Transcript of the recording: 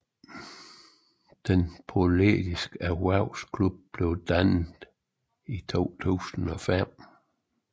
Den politiske erhvervsklub blev dannet i 2005